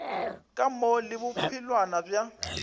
ka mo le bophelwana bja